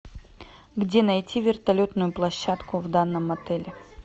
где найти вертолетную площадку в данном отеле